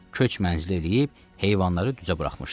Köç mənzili eləyib heyvanları düzə buraxmışdı.